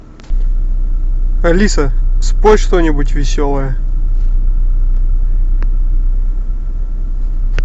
алиса спой что нибудь веселое